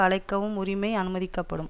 அழைக்கவும் உரிமை அனுமதிக்கப்படும்